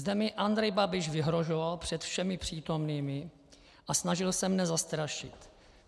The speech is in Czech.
Zde mi Andrej Babiš vyhrožoval před všemi přítomnými a snažil se mne zastrašit.